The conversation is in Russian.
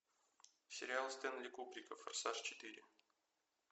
сериал стэнли кубрика форсаж четыре